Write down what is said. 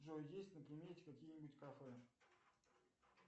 джой есть на примете какие нибудь кафе